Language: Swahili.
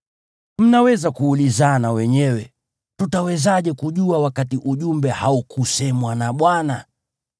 Mnaweza kuulizana wenyewe, “Tutawezaje kujua wakati ujumbe haukusemwa na Bwana ?”